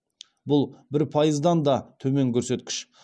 бұл бір пайыздан да төмен көрсеткіш